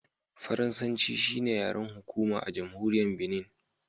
Faransanci. shi ne yaren hukuma a Jamhuriyar Binin